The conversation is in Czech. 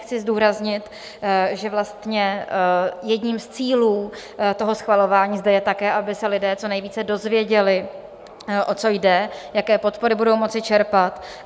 Chci zdůraznit, že vlastně jedním z cílů toho schvalování zde je také, aby se lidé co nejvíce dozvěděli, o co jde, jaké podpory budou moci čerpat.